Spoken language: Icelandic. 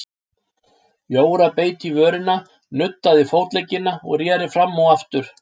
Jóra beit í vörina, nuddaði fótleggina og reri fram og aftur.